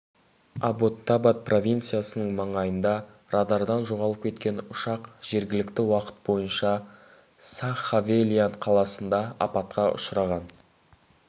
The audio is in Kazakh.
абботтабад провинциясының маңайында радардан жоғалып кеткен ұшақ жергілікті уақыт бойынша сағ хавелиан қаласында апатқа ұшыраған